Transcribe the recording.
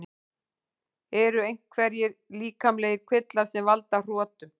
Eru einhverjir líkamlegir kvillar sem valda hrotum?